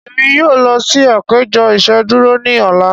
Emi yoo lọ si apejọ iṣeduro ni ọla.